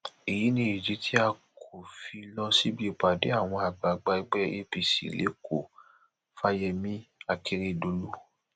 èyí ni ìdí tí a kò fi lọ síbi ìpàdé àwọn àgbààgbà ẹgbẹ apc lẹkọọfàyèmi akérèdọlù